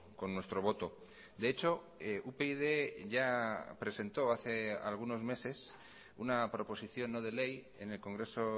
con nuestro voto de hecho upyd ya presentó hace algunos meses una proposición no de ley en el congreso